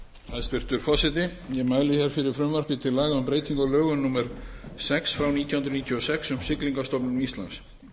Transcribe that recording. hér fyrir frumvarpi til laga um breytingu á lögum númer sex nítján hundruð níutíu og sex um siglingastofnun íslands